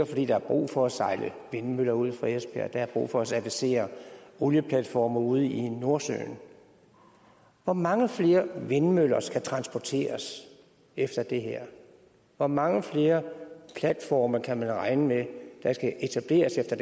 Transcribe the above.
fordi der er brug for at sejle vindmøller ud fra esbjerg der er brug for at servicere olieplatforme ude i nordsøen hvor mange flere vindmøller skal transporteres efter det her hvor mange flere platforme kan man regne med der skal etableres efter